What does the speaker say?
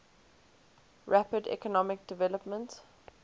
rapid economic development